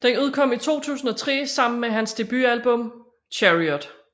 Den udkom i 2003 sammen med hans debut album Chariot